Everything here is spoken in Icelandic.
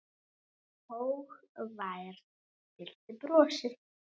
Hógværð fyllti brosið.